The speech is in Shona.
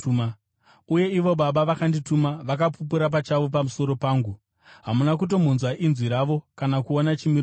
Uye ivo Baba vakandituma vakapupura pachavo pamusoro pangu. Hamuna kutombonzwa inzwi ravo kana kuona chimiro chavo,